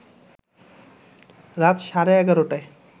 রাত সাড়ে ১১টায়